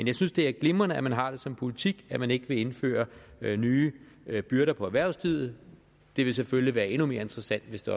jeg synes det er glimrende at man har det som politik at man ikke vil indføre nye byrder for erhvervslivet det vil selvfølgelig være endnu mere interessant hvis det